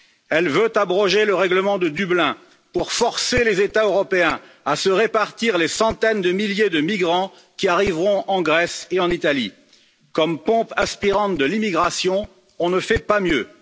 Elle veut abroger le règlement de Dublin pour forcer les États européens à se répartir les centaines de milliers de migrants qui arriveront en Grèce et en Italie. Comme pompe aspirante de l'immigration, on ne fait pas mieux.